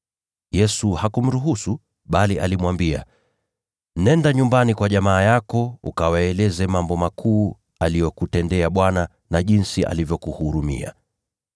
Yesu hakumruhusu, bali alimwambia, “Nenda nyumbani kwa jamaa yako ukawaeleze mambo makuu aliyokutendea Bwana, na jinsi alivyokuhurumia.”